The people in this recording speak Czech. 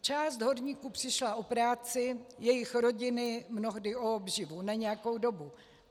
Část horníků přišla o práci, jejich rodiny mnohdy o obživu na nějakou dobu.